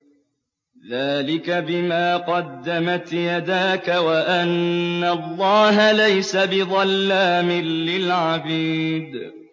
ذَٰلِكَ بِمَا قَدَّمَتْ يَدَاكَ وَأَنَّ اللَّهَ لَيْسَ بِظَلَّامٍ لِّلْعَبِيدِ